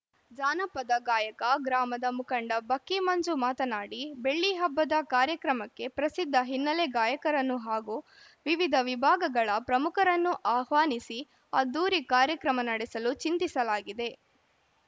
ಜಾನಪದ ಗಾಯಕ ಗ್ರಾಮದ ಮುಖಂಡ ಬಕ್ಕಿ ಮಂಜು ಮಾತನಾಡಿ ಬೆಳ್ಳಿಹಬ್ಬದ ಕಾರ್ಯಕ್ರಮಕ್ಕೆ ಪ್ರಸಿದ್ಧ ಹಿನ್ನಲೆ ಗಾಯಕರನ್ನು ಹಾಗೂ ವಿವಿಧ ವಿಭಾಗಗಳ ಪ್ರಮುಖರನ್ನು ಆಹ್ವಾನಿಸಿ ಅದ್ಧೂರಿ ಕಾರ್ಯಕ್ರಮ ನಡೆಸಲು ಚಿಂತಿಸಲಾಗಿದೆ